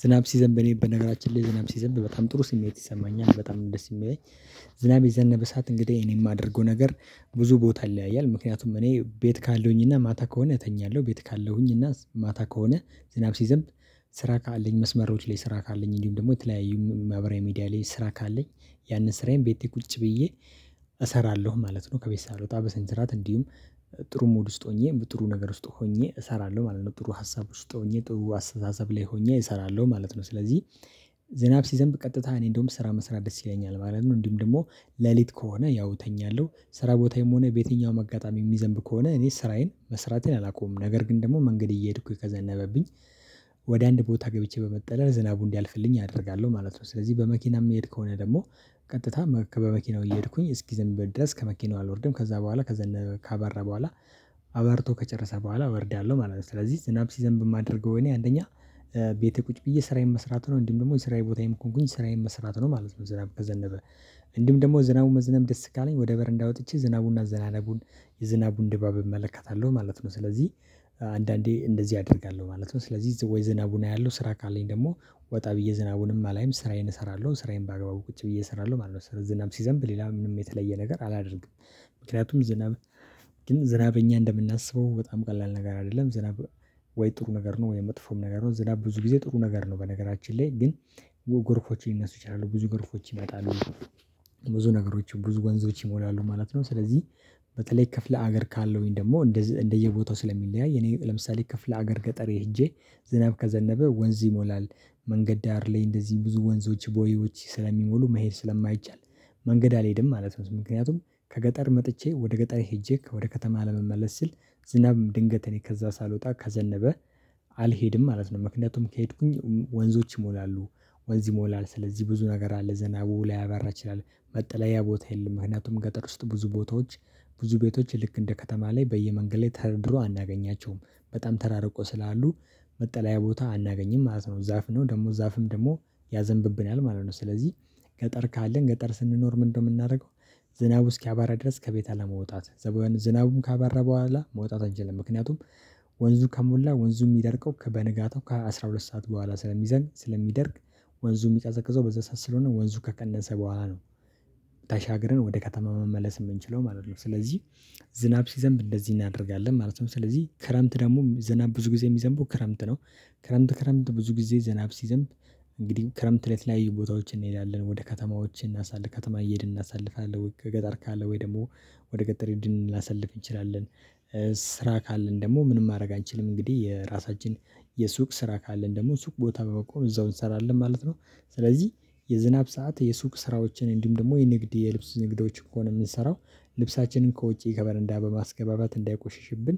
ዝናብ ሲዘንብ እኔ በነገራችን ላይ ዝናብ ሲዘንብ በጣም ጥሩ ስሜት ይሰማኛል በጣም ደስ የሚለኝ። ዝናብ የዘነበ ሰዓት እንግዲህ እኔ የማደርገው ነገር ብዙ ቦታ ይለያያል። ምክንያቱም እኔ ቤት ካለሁኝና ማታ ከሆነ እተኛለሁ። ቤት ካለሁኝና ማታ ከሆነ ዝናብ ሲዘንብ። ስራ ካለኝ መስመሮች ላይ ስራ ካለኝ እንዲሁም ደግሞ የተለያዩ ማህበራዊ ሚዲያ ላይ ስራ ካለኝ ያንን ስራዬን ቤቴ ቁጭ ብዬ እሰራለሁ ማለት ነው። ከቤት ሳልወጣ በስነስርዓት እንዲሁም ጥሩ ሙድ ውስጥ ሆኜ ጥሩ ነገር ውስጥ ሆኜ እሰራለሁ ማለት ነው። ጥሩ ሀሳብ ውስጥ ሆኜ ጥሩ አስተሳሰብ ላይ ሆኜ እሰራለሁ ማለት ነው። ስለዚህ ዝናብ ሲዘንብ ቀጥታ እኔ እንደውም ስራ መስራት ደስ ይለኛል ማለት ነው። እንዲሁም ደግሞ ሌሊት ከሆነ ያው እተኛለሁ። ስራ ቦታዬም ሆነ በየትኛውም አጋጣሚ የሚዘንብ ከሆነ እኔ ስራዬን መስራቴን አላቆምም። ነገር ግን ደግሞ መንገድ እየሄድኩኝ ከዘነበብኝ። ወደ አንድ ቦታ ገብቼ በመጠለል ዝናቡ እንዲያልፍልኝ አደርጋለሁ ማለት ነው። ስለዚህ በመኪና የምሄድ ከሆነ ደግሞ ቀጥታ በመኪናው እየሄድኩኝ እስኪ ዝናብ ድረስ ከመኪናው አልወርድም ከዛ በኋላ ከዘነበ ካባራ በኋላ። አባርቶ ከጨረሰ በኋላ ወርዳለሁ ማለት ነው። ስለዚህ ዝናብ ሲዘንብ የማደርገው እኔ አንደኛ ቤቴ ቁጭ ብዬ ስራዬን መስራት ነው። እንዲም ደግሞ የስራዬ ቦታዬን ከሆንኩኝ ስራዬን መስራት ነው ማለት ነው። ዝናብ ከዘነበ። እንዲም ደግሞ ዝናቡን መዝነም ደስ ካለኝ ወደ በር እንዳወጥቼ ዝናቡንና አዘናነቡን የዝናቡን ድባብ እመለከታለሁ ማለት ነው። ስለዚህ አንዳንዴ እንደዚህ አደርጋለሁ ማለት ነው። ስለዚህ ወይ ዝናቡን አያለሁ ስራ ካለኝ ደግሞ ወጣ ብዬ ዝናቡንም አላይም ስራዬን እሰራለሁ ስራዬን በአግባቡ ቁጭ ብዬ እሰራለሁ ማለት ነው። ስለዚህ ዝናብ ሲዘንብ ሌላ ምንም የተለየ ነገር አላደርግም። ምክንያቱም ዝናብ ግን ዝናብ እኛ እንደምናስበው በጣም ቀላል ነገር አይደለም። ዝናብ ወይ ጥሩ ነገር ነው ወይ መጥፎም ነገር ነው። ዝም ብዙ ጊዜ ጥሩ ነገር ነው። በነገራችን ላይ ግን ጎርፎችም ሊነሱ ይችላሉ ብዙ ጎርፎች ይመጣሉ። ብዙ ነገሮችን ብዙ ወንዞች ይሞላሉ ማለት ነው። ስለዚህ በተለይ ክፍለ ሀገር ካለሁኝ ደግሞ እንደዚህ እንደየቦታው ስለሚለያይ እኔ ለምሳሌ ክፍለ ሀገር ገጠር ሄጄ ዝናብ ከዘነበ ወንዝ ይሞላል። መንገድ ዳር ላይ እንደዚህ ብዙ ወንዞች ቦይዎች ስለሚሞሉ መሄድ ስለማይቻል። መንገድ አልሄድም ማለት ነው። ምክንያቱም ከገጠር መጥቼ ወደ ገጠር ሄጄ ወደ ከተማ ለመመለስ ስል ዝናብ ድንገት እኔ ከዛ ሳልወጣ ከዘነበ። አልሄድም ማለት ነው ምክንያቱም ከሄድኩኝ ወንዞች ይሞላሉ። ወንዝ ይሞላል ስለዚህ ብዙ ነገር አለ ዝናብ ላያባራ ይችላል። መጠለያ ቦታ የለም ምክንያቱም ገጠር ውስጥ ብዙ ቦታዎች ብዙ ቤቶች ልክ እንደ ከተማ ላይ በየመንገድ ላይ ተደርድሮ አናገኛቸውም በጣም ተራርቆ ስላሉ መጠለያ ቦታ አናገኝም ማለት ነው። ዛፍ ነው ደግሞ ዛፍም ደግሞ ማለት ነው። ስለዚህ ገጠር ካለን ገጠር ስንኖር ምንድነው የምናደርገው? ዝናቡ እስኪያባራ ድረስ ከቤት አለመውጣት። ዝናቡም ካባረ በኋላ መውጣት አይደለም ምክንያቱም። ወንዙ ከሞላ ወንዙ የሚደርቀው ከበንጋታው ከአስራ ሁለት ሰዓት በኋላ ስለሚደርቅ። ወንዙ የሚቀዘቅዘው በዛ ሰዓት ስለሆነ ወንዙ ከቀነሰ በኋላ ነው። ተሻገርን ወደ ከተማ መመለስ የምንችለው ማለት ነው። ስለዚህ ዝናብ ሲዘንብ እንደዚህ እናደርጋለን ማለት ነው። ስለዚህ ክረምት ደግሞ ዝናብ ብዙ ጊዜ የሚዘንበው ክረምት ነው። ክረምት ክረምት ብዙ ጊዜ ዘናብ ሲዘንብ። እንግዲህ ክረምት ላይ የተለያዩ ቦታዎችን እንሄዳለን ወደ ከተማዎች ከተማ እየሄድን እናሳልፋለን ገጠር ካለ ወይ ደግሞ ወደ ገጠር ሂደን ልናሳልፍ እንችላለን። ስራ ካለን ደግሞ ምንም ማድረግ አንችልም። እንግዲህ የራሳችን የሱቅ ስራ ካለን ደግሞ ሱቅ ቦታ በመቆም እዛው እንሰራለን ማለት ነው። ስለዚህ የዝናብ ሰዓት የሱቅ ስራዎችን እንዲሁም ደግሞ የንግድ የልብስ ንግዶች ከሆነ የምንሰራው ልብሳችንን ከውጪ ከበረንዳ በማስገባባት እንዳይቆሽሽብን።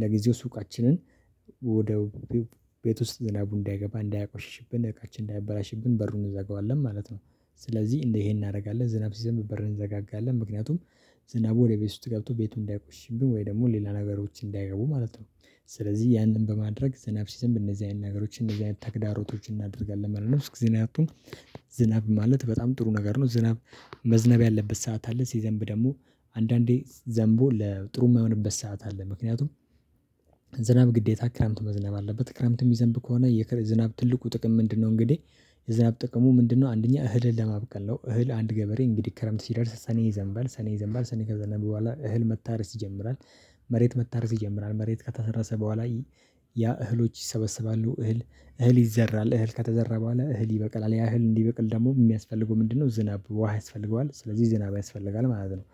ለጊዜው ሱቃችንን ወደ ቤት ውስጥ ዝናቡ እንዳይገባ እንዳያቆሽሽብን እቃችን እንዳይበላሽብን በሩን እንዘጋዋለን ማለት ነው። ስለዚህ ይሄን እናደርጋለን ዝናብ ሲዘንብ በር እንዘጋጋለን ምክንያቱም ዝናቡ ወደ ቤት ስትገብቶ ቤቱን እንዳይቆሽብን ወይ ደግሞ ሌላ ነገሮችን እንዳይገቡ ማለት ነው። ስለዚህ ያንን በማድረግ ዝናብ ሲዘንብ እነዚህ አይነት ነገሮች እነዚህ አይነት ተግዳሮቶችን እናደርጋለን ማለት ነው። እስኪ እናንተን ዝናብ ማለት በጣም ጥሩ ነገር ነው። ዝናብ መዝነብ ያለበት ሰዓት አለ ሲዘንብ ደግሞ አንዳንዴ ዘንቦ ለጥሩ የማይሆንበት ሰዓት አለ። ምክንያቱም ዝናብ ግዴታ ክረምት መዝነብ አለበት ክረምት የሚዘንብ ከሆነ የዝናብ ትልቁ ጥቅም ምንድነው? እንግዲህ የዝናብ ጥቅሙ ምንድነው አንደኛ እህልን ለማብቀል ነው። እህል አንድ ገበሬ እንግዲህ ክረምት ሲደርስ ሰኔ ይዘንበል ሰኔ ይዘንበል ሰኔ ከዘንበል በኋላ እህል መታረስ ይጀምራል። መሬት መታረስ ይጀምራል መሬት ከተሰራሰ በኋላ ያ እህሎች ይሰበሰባሉ። እህል እህል ይዘራል እህል ከተዘራ በኋላ እህል ይበቅላል። ያ እህል እንዲበቅል ደግሞ የሚያስፈልገው ምንድነው? ዝናብ ውሃ ያስፈልገዋል ስለዚህ ዝናብ ያስፈልጋል ማለት ነው።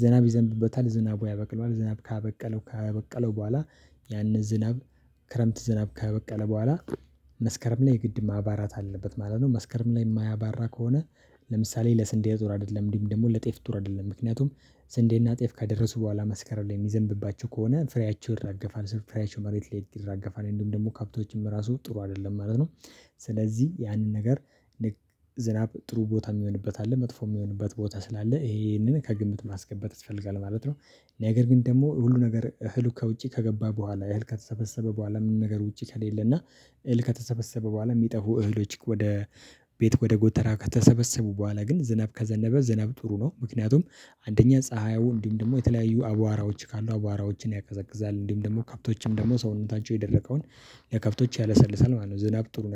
ዝናብ ይዘንብበታል ዝናብ ያበቅለዋል ዝናብ ካበቀለው ካበቀለው በኋላ ያንን ዝናብ ክረምት ዝናብ ከበቀለ በኋላ መስከረም ላይ ግድ ማባራት አለበት ማለት ነው። መስከረም ላይ የማያባራ ከሆነ። ለምሳሌ ለስንዴ ጥሩ አይደለም እንዲሁም ደግሞ ለጤፍ ጥሩ አይደለም። ምክንያቱም ስንዴና ጤፍ ከደረሱ በኋላ መስከረር ላይ የሚዘንብባችሁ ከሆነ ፍሬያቸው ይረገፋል ስል ፍሬያቸው መሬት ላይ ይረገፋል እንደውም ደግሞ ካፕቶችም ራሱ ጥሩ አይደለም ማለት ነው። ስለዚህ ያንን ነገር ዝናብ ጥሩ ቦታ የሚሆንበት አለ መጥፎ የሚሆንበት ቦታ ስላለ ይሄንን ከግምት ማስገበት ይፈልጋል ማለት ነው። ነገር ግን ደግሞ ሁሉ ነገር እህሉ ከውጪ ከገባ በኋላ ኤል ከተሰበሰበ በኋላ ምን ነገር ውጪ ከሌለ እና እህል ከተሰበሰበ በኋላ የሚጠፉ እህሎች ወደ ቤት ወደ ጎተራ ከተሰበሰቡ በኋላ ግን ዝናብ ከዘነበ ዝናብ ጥሩ ነው። ምክንያቱም አንደኛ ፀሀያው እንዲም ደግሞ የተለያዩ አቧራዎች ካሉ አቧራዎችን ያቀዘቅዛል እንዲሁም ደግሞ ከብቶችም ደግሞ ሰውነታቸው የደረቀውን ለከፍቶች ያለሰልሳል ማለት ነው። ዝናብ ጥሩ